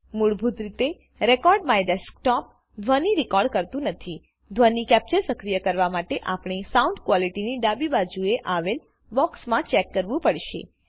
મૂળભૂત રીતે રેકોર્ડમાયડેસ્કટોપ ધ્વની રેકોર્ડ કરતું નથીધ્વની કેપ્ચર સક્રિય કરવા માટેઆપણે સાઉન્ડ Qualityની ડાબી બાજુ એ આવેલ બોક્સમાં ચેક કરવું પડશે